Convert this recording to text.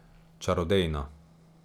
Čarodejno.